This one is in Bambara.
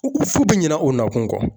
Fu bɛ ɲina o nakun kɔ.